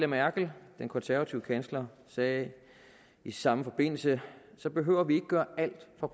merkel den konservative kansler sagde i samme forbindelse så behøver vi ikke at gøre alt fra